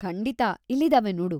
ಖಂಡಿತ! ಇಲ್ಲಿದಾವೆ ನೋಡು.